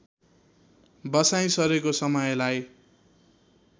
बसाइँ सरेको समयलाई